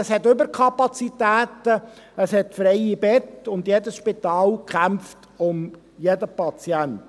Es gibt Überkapazitäten, es gibt freie Betten, und jedes Spital kämpft um jeden Patienten.